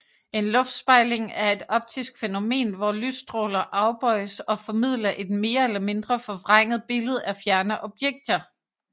En luftspejling er et optisk fænomen hvor lysstråler afbøjes og formidler et mere eller mindre forvrænget billede af fjerne objekter